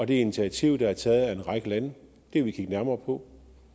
det initiativ der er taget af en række lande vil vi kigge nærmere på